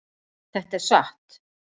Þetta er satt!